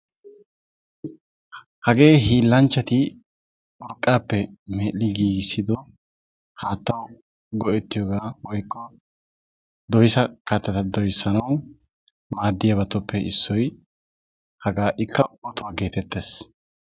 Hagee hiillanchchati urqqappe medhdhi giigissido haatta go'etiyooga woykko doysa kattata doyssanawu maaddiyabatuppe issoy hagaa; ikka otuwa getettees.